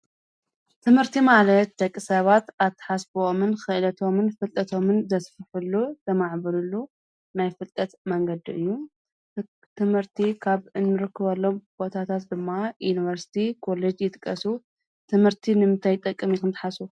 ትምህርቲ መለት ደቂ ሰባት ኣተሓስብኦምን ኽእደቶምን ፍልጠቶምን ዘስፍሑሉ ዘማዕብሩሉ ናይ ፍልጠት መንገዲ እዩ ትምህርቲ ኻብ እንምርክበሎም ቦታታት ድማ ዩንበርስቲ ኮልጅ ይጥቀሱ ትምህርቲ ንምተይ ጠቅ ም ይኽንትሓሱ